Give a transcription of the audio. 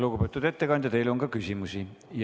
Lugupeetud ettekandja, teile on ka küsimusi.